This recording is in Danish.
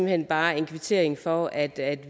hen bare en kvittering for at